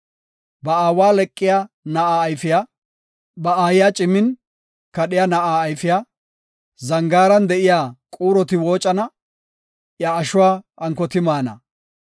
Ba aawa leqiya na7aa ayfiya, ba aayiya cimin kadhiya na7aa ayfiya, zangaaran de7iya quuroti woocana; iya ashuwa ankoti maana.